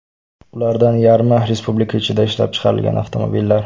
Ulardan yarmi – Respublika ichida ishlab chiqarilgan avtomobillar.